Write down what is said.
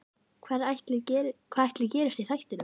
Hvað ætli gerist í þættinum?